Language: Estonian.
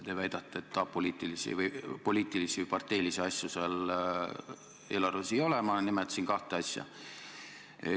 Te väidate, et poliitilisi või parteilisi asju selles eelarves ei ole – ma nimetasin kahte asja.